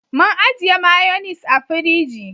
Mun ajiye mayonis a firiji